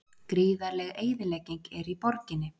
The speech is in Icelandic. Gríðarleg eyðilegging er í borginni